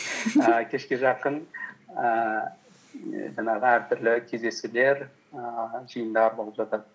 ііі кешке жақын ііі жаңағы әртүрлі кездесулер ііі жиындар болып жатады